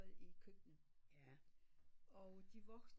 I køkkenet og de voksne